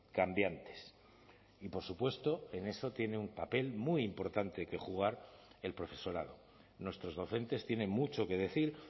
cambiantes y por supuesto en eso tiene un papel muy importante que jugar el profesorado nuestros docentes tienen mucho que decir